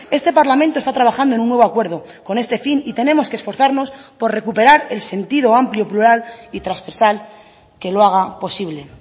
este parlamento está trabajando en un nuevo acuerdo con este fin y tenemos que esforzarnos por recuperar el sentido amplio plural y transversal que lo haga posible